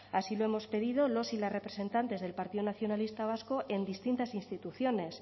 así lo hemos pedido los y las representantes del partido nacionalista vasco en distintas instituciones